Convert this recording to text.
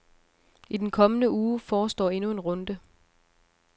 I den kommende uge forestår endnu en runde.